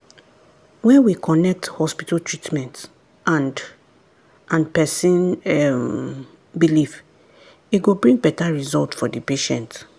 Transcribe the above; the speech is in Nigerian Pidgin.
when we connect hospital treatment and and person um belief e go bring better result for the patient.